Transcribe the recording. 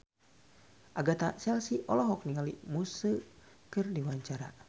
Agatha Chelsea olohok ningali Muse keur diwawancara